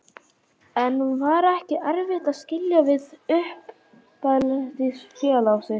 En var ekki erfitt að skilja við uppeldisfélag sitt?